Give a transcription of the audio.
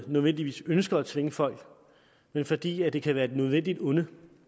nødvendigvis ønsker at tvinge folk men fordi det kan være et nødvendigt onde